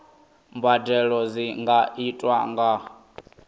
mbadelo dzi nga itwa nga